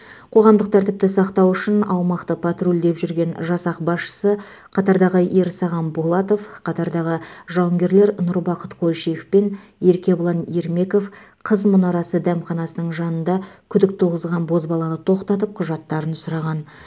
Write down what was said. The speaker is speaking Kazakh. қоғамдық тәртіпті сақтау үшін аумақты патрульдеп жүрген жасақ басшысы қатардағы ерсаған болатов қатардағы жауынгерлер нұрбақыт қойшиев пен еркебұлан ермеков қыз мұнарасы дәмханасының жанында күдік туғызған бозбаланы тоқтатып құжаттарын сұраған